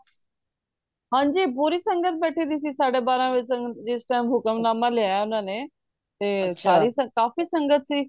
ਹਨਜੀ ਪੂਰੀ ਸੰਗਤ ਬੈਠੀ ਦੀ ਸੀ ਸਾਡੇ ਬਾਰਹ ਵਜੇ ਤੱਕਣ ਜਿਸ time ਹੁਕਮਨਾਮਾ ਲੈਯਾ ਉਹਨਾਂ ਨੇ ਤੇ ਫੇਰ ਸਾਰੀ ਸੰਗਤ ਕਾਫੀ ਸੰਗਤ ਸੀ